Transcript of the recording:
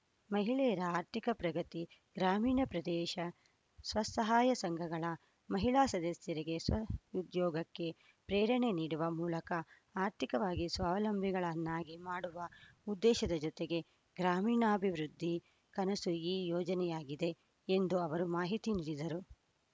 ಮಹಿಳೆಯರ ಆರ್ಥಿಕ ಪ್ರಗತಿ ಗ್ರಾಮೀಣ ಪ್ರದೇಶ ಸ್ವಸಹಾಯ ಸಂಘಗಳ ಮಹಿಳಾ ಸದಸ್ಯರಿಗೆ ಸ್ವಉದ್ಯೋಗಕ್ಕೆ ಪ್ರೇರಣೆ ನೀಡುವ ಮೂಲಕ ಆರ್ಥಿಕವಾಗಿ ಸ್ವಾವಲಂಬಿಗಳನ್ನಾಗಿ ಮಾಡುವ ಉದ್ದೇಶದ ಜೊತೆಗೆ ಗ್ರಾಮೀಣಾಭಿವೃದ್ಧಿ ಕನಸು ಈ ಯೋಜನೆಯಾಗಿದೆ ಎಂದು ಅವರು ಮಾಹಿತಿ ನೀಡಿದರು